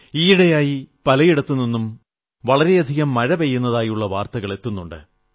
ഈയിടെയായി പലയിടത്തും വളരെയധികം മഴ പെയ്യുന്നതായുള്ള വാർത്തകൾ എത്തുന്നുണ്ട്